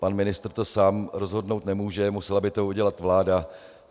Pan ministr to sám rozhodnout nemůže, musela by to udělat vláda.